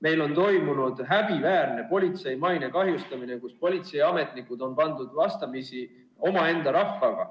Meil on toimunud häbiväärne politsei maine kahjustamine, kus politseiametnikud on pandud vastamisi omaenda rahvaga.